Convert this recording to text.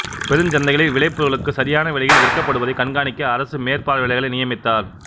பெருஞ் சந்தைகளில் விளைபொருள்களுக்கு சரியான விலையில் விற்கப்படுவதை கண்காணிக்க அரசு மேற்பார்வையாளர்களை நியமித்தார்